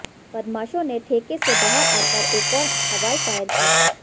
बदमाशों ने ठेके से बाहर आकर एक और हवाई फायर किया